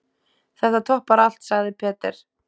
Þetta toppar allt, sagði Peter.